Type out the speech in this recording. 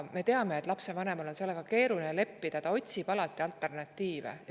Me teame, et lapsevanemal on sellega keeruline leppida, ta otsib alati alternatiive.